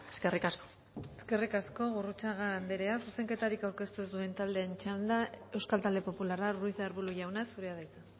eskerrik asko eskerrik asko gurrutxaga anderea zuzenketarik aurkeztu ez duen taldeen txanda euskal talde popularra ruiz de arbulo jauna zurea da hitza